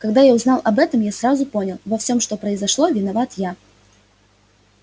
когда я узнал об этом я сразу понял во всём что произошло виноват я